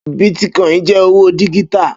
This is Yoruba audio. Bítkoìnì jẹ́ owó díjítà